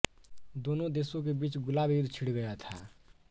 दोनों देशों के बीच गुलाब युद्ध छिड़ गया था